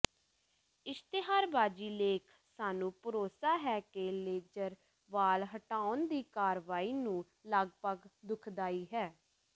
ਇਸ਼ਤਿਹਾਰਬਾਜ਼ੀ ਲੇਖ ਸਾਨੂੰ ਭਰੋਸਾ ਹੈ ਕਿ ਲੇਜ਼ਰ ਵਾਲ ਹਟਾਉਣ ਦੀ ਕਾਰਵਾਈ ਨੂੰ ਲਗਭਗ ਦੁਖਦਾਈ ਹੈ